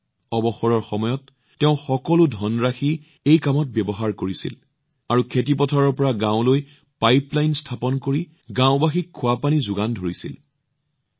তেওঁ এই কামৰ বাবে অৱসৰৰ সময়ত পোৱা তেওঁৰ সকলো ধন হস্তান্তৰ কৰিছিল আৰু খেতিপথাৰৰ পৰা গাঁৱলৈ পাইপলাইন স্থাপন কৰি গাওঁবাসীক সতেজ পানীৰ যোগান ধৰিছিল